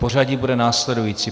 Pořadí bude následující.